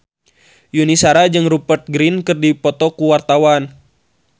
Yuni Shara jeung Rupert Grin keur dipoto ku wartawan